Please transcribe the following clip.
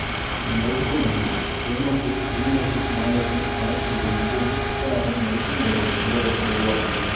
இம்மருத்துவ மனையில் Buenos Aires மாநிலத்தில் காணக்கூடிய மிகவும் சிக்கலான மருத்துவ நிலைகள் உள்ளவர்கள் வருவார்கள்